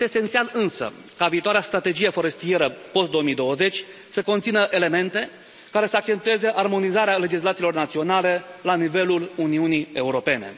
Este esențial însă ca viitoarea strategie forestieră post 2020 să conțină elemente care să accentueze armonizarea legislațiilor naționale la nivelul Uniunii Europene.